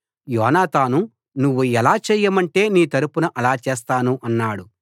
యోనాతాను నువ్వు ఎలా చేయమంటే నీ తరపున అలా చేస్తాను అన్నాడు